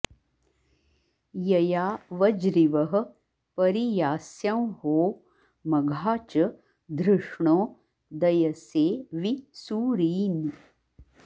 यया॑ वज्रिवः परि॒यास्यंहो॑ म॒घा च॑ धृष्णो॒ दय॑से॒ वि सू॒रीन्